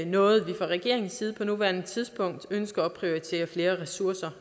noget vi fra regeringens side på nuværende tidspunkt ønsker at prioritere flere ressourcer